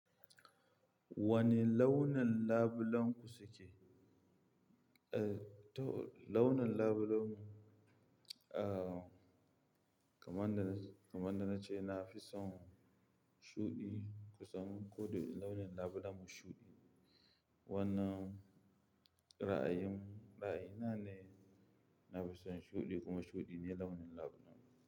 Wane launi labulenku suke? Eh, to launin labulenmu, ah, kamar da na, kamar da na ce na fi son shuɗi kusan ko da launin labulenmu shuɗi. Wannan ra'ayin, ra'ayina ne. Na fi son shuɗi kuma shuɗi ne launin labulenmu.